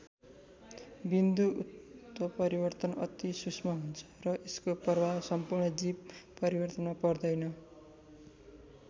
बिन्दु उत्परितर्वन अति सूक्ष्म हुन्छ र यसको प्रभाव सम्पूर्ण जीव परिवर्तनमा पर्दैन।